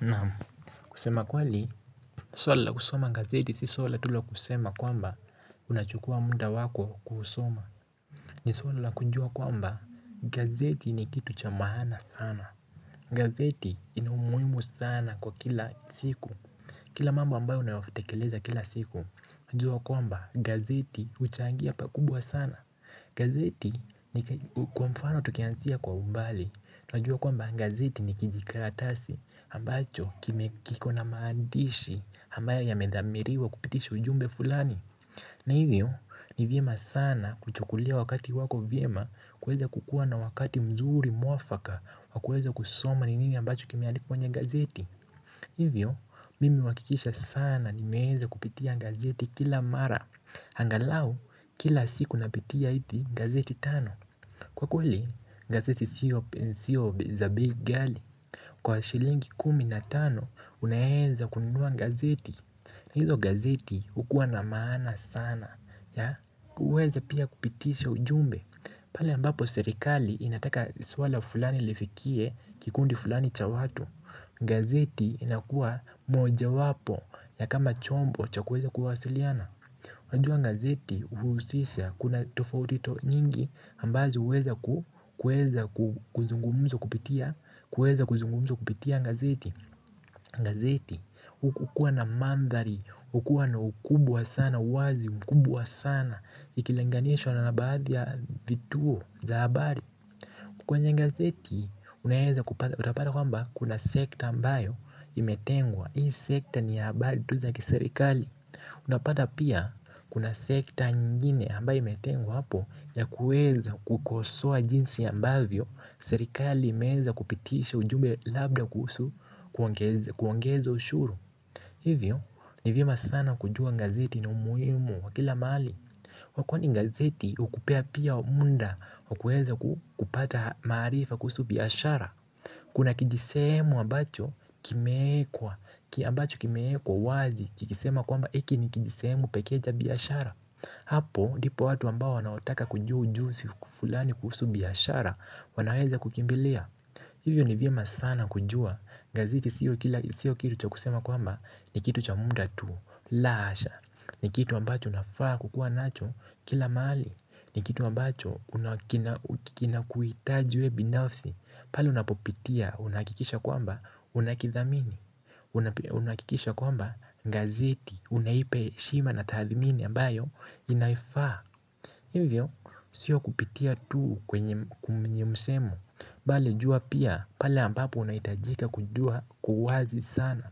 Naam. Kusema kweli. Suala la kusoma gazeti si suala tu la kusema kwamba unachukua muda wako kuusoma. Ni suala la kujua kwamba gazeti ni kitu cha maana sana. Gazeti ina umuhimu sana kwa kila siku. Kila mambo ambayo unayotekeleza kila siku. Najua kwamba gazeti huchangia pakubwa sana. Gazeti ni kwa mfano tukianzia kwa umbali. Najua kwamba gazeti ni kijikaratasi ambacho kime kiko na maandishi ambayo yamedhamiriwa kupitisha ujumbe fulani. Na hivyo ni vyema sana kuchukulia wakati wako vyema kuweza kukua na wakati mzuri mwafaka wa kuweza kusoma ni nini ambacho kimeandikwa kwenye gazeti. Hivyo mimi huhakikisha sana nimeeza kupitia gazeti kila mara angalau kila siku napitia ipi gazeti tano. Kwa kweli, gazeti siyo za bei ghali. Kwa shilingi kumi na tano, unaeza kununua gazeti. Na hizo gazeti hukuwa na maana sana na uweza pia kupitisha ujumbe. Pale ambapo serikali inataka suala fulani lifikie kikundi fulani cha watu. Gazeti inakua mojawapo ya kama chombo cha kuweza kuwasiliana. Wajua gazeti huhusisha kuna tofauti nyingi ambazo huweza kuzungumuzwa kupitia gazeti gazeti hukuwa na manthari, hukuwa na ukubwa sana, wazi ukubwa sana. Ikilinganishwa na baadhi ya vituo za habari kwenye gazeti, utapata kwamba kuna sekta ambayo imetengwa. Hii sekta ni ya habari tu za kiserikali. Unapata pia kuna sekta nyingine ambayo imetengwa hapo ya kueza kukosoa jinsi ambavyo serikali imeeza kupitisha ujumbe labda kuhusu kuongeza ushuru. Hivyo ni vyema sana kujua gazeti na umuhimu wa kila mahali wa kwani gazeti hukupea pia muda wa kueza kupata maarifa kuhusu biashara. Kuna kijisehemu ambacho kimeekwa, kya abacho kimeekwa wazi, kikisema kwamba iki ni kijisehemu pekee cha biashara. Hapo, ndipo watu ambao wanaotaka kujua ujuzi fulani kuhusu biashara, wanaweza kukimbilia. Hivyo ni vyema sana kujua, gazeto siyo kitu cha kusema kwamba ni kitu cha muda tu, la hasha. Ni kitu ambacho unafaa kukua nacho kila mahali. Ni kitu ambacho una kina kuhitaji wewe binafsi. Pale unapopitia unahakikisha kwamba unakithamini. Unahakikisha kwamba gazeti unaipa heshima na tathmini ambayo inaifaa hivyo, sio kupitia tu kwenye msemo bali jua pia, pale ambapo unahitajika kujua kwa uwazi sana.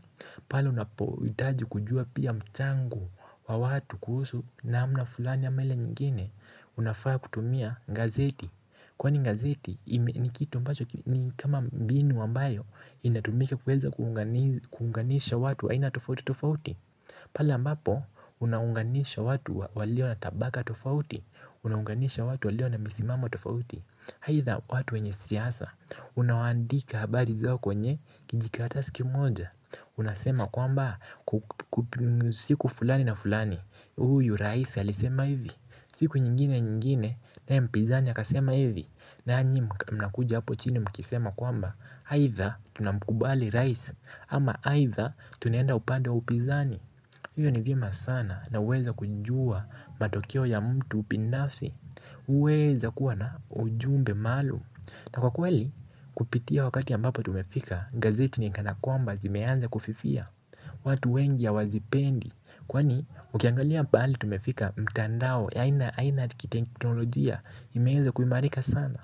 Pale unapohitaji kujua pia mchango wa watu kuhusu namna fulani ama ile nyingine unafaa kutumia gazeti. Kwani gazeti ni kitu ambacho ni kama mbinu ambayo inatumika kuweza kuunganisha watu wa aina tofauti tofauti. Pale ambapo unaunganisha watu walio na tabaka tofauti, unaunganisha watu walio na misimamo tofauti. Aidha watu wenye siasa, unawaandika habari zao kwenye kijikaratasi kimoja. Unasema kwamba siku fulani na fulani huyu rais alisema hivi. Siku nyingine nyingine naye mpizani akasema hivi. Nanyi mnakuja hapo chini mkisema kwamba aidha tunamkubali rais ama aidha tunaenda upande wa upinzani. Hiyo ni vyema sana na huweza kujua matokeo ya mtu binafsi. Weza kuwa na ujumbe maalum ama kweli kupitia wakati ambapo tumefika. Gazeti ni kana kwamba zimeanza kufifia. Watu wengi hawazipendi. Kwani ukiangalia pahali tumefika mtandao ya aina aina kiteknolojia imeeza kuimarika sana.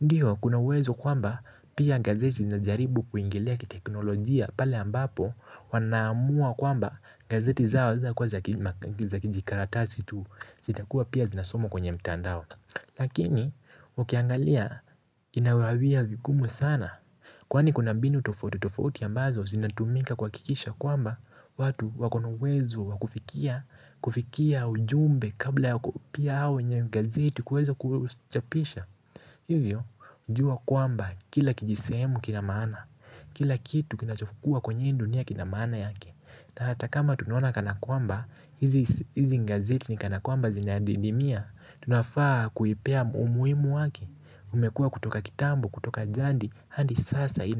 Ndiyo kuna uwezo kwamba pia gazeti zinajaribu kuingilia kiteknolojia. Pale ambapo wanaamua kwamba gazeti zao zinakuwa za kijikaratasi tu. Zitakuwa pia zinasomwa kwenye mtandao. Lakini ukiangalia inawawia vigumu sana. Kwani kuna mbinu tofauti, tofauti ambazo zinatumika kuhakikisha kwamba watu wakona uwezo wa kufikia, kufikia ujumbe kabla ya pia hao wenye gazeti kuweza kuchapisha hivyo, jua kwamba kila kijisehemu kina maana, kila kitu kinachokuwa kwenye hii dunia kina maana yake. Na hata kama tunaona kana kwamba, hizi gazeti ni kana kwamba zinadidimia. Tunafaa kuipea umuhimu wake. Umekua kutoka kitambo, kutoka jadi hadi sasa ina.